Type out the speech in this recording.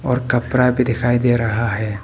और कपड़ा भी दिखाई दे रहा है।